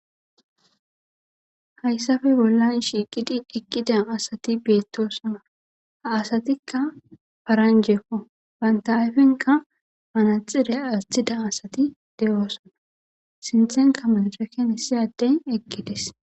hayssafe bollan shiiqidi eqqida asati beettosona ha asatikka paranjekko banta ayfinka manaxire asthida asati de7oosona sinthenka manceken hissi adden eqqides